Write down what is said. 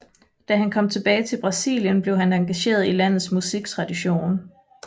Da han kom tilbage til Brasilien blev han engageret i landets musiktradition